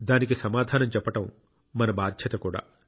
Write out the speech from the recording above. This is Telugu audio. దానికి సమాధానం చెప్పడం మన బాధ్యత కూడా